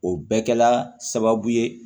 O bɛ kɛla sababu ye